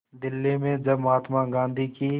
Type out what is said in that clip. दिल्ली में जब महात्मा गांधी की